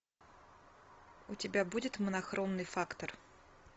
у тебя будет монохромный фактор